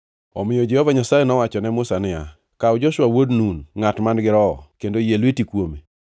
Omiyo Jehova Nyasaye nowacho ne Musa niya, “Kaw Joshua wuod Nun, ngʼat man-gi Roho, kendo yie lweti kuome.